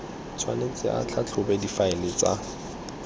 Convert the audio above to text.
tshwanetse a tlhatlhobe difaele tsa